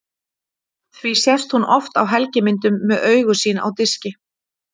því sést hún oft á helgimyndum með augu sín á diski